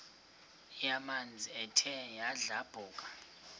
yamanzi ethe yadlabhuka